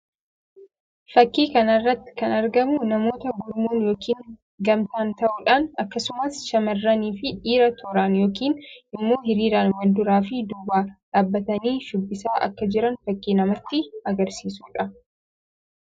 Fakkii kana irratti kan argamu namoota gurmuun yookiin gamtaan ta'uudhaan akkasumas shamarranii fi dhiirri tooraan yookiin immoo hiriiraan wal duraa fi duubaan dhaabbatanii shubbisaa akka jiran fakkii namatti agarsiisuu dha.